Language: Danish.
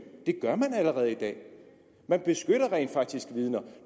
det gør man allerede i dag man beskytter rent faktisk vidner